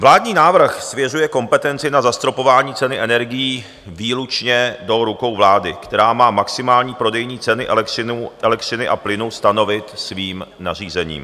Vládní návrh svěřuje kompetenci na zastropování ceny energií výlučně do rukou vlády, která má maximální prodejní ceny elektřiny a plynu stanovit svým nařízením.